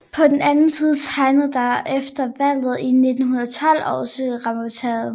På den anden side tegnede der sig efter valget i 1912 også reformtiltag